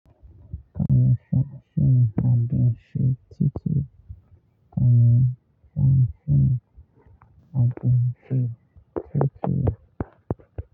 Kai son cin abincin titi. Kaminfa shine abin shi titi.